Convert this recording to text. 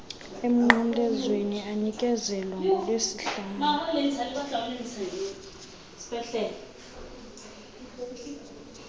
emnqamlezweni anikezelwa ngolwesihlanu